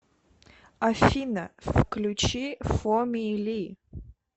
афина включи фоми ли